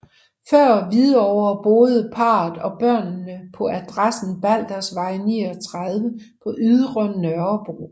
Før Hvidovre boede parret og børnene på adressen Baldersgade 39 på Ydre Nørrebro